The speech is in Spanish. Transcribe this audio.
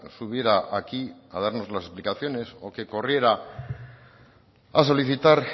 subiera aquí a darnos las explicaciones o que corriera a solicitar